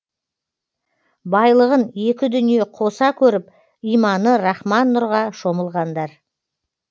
байлығын екі дүние қоса көріп иманы рахман нұрға шомылғандар